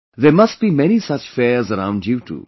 There must be many such fairs around you too